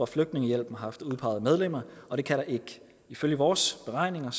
flygtningehjælp har haft udpeget medlemmer og det kan der ikke ifølge vores beregninger